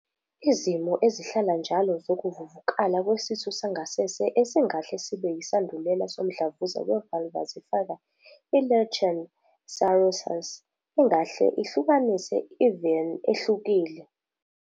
Izimo ezihlala njalo zokuvuvukala kwesitho sangasese esingahle sibe yisandulela somdlavuza we-vulvar zifaka i- lichen sclerosus, engahle ihlukanise i-VIN ehlukile.